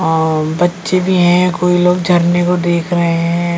बच्चे भी हैं कोई लोग झरने को देख रहे हैं।